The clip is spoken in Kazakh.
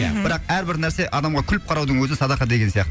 мхм бірақ әрбір нәрсе адамға күліп қараудың өзі садақа деген сияқты